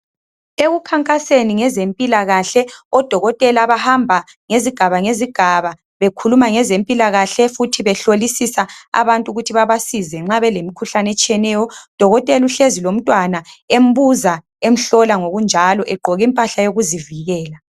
Ekukhankaseni ngezempilakahle odokotela bahamba ngezigaba ngezigaba bekhuluma ngezempilakahle futhi behlolisisa abantu ukuthi babasize nxa belemikhuhlane etshiyeneyo. Udokotela uhlezi lomntwana embuza emhlola ngokunjalo egqoke impahla yokuzivikela